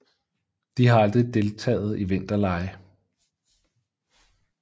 De har aldrig deltagt i vinterlege